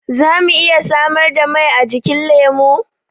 Za mu iya samar da mai ajikin lemu?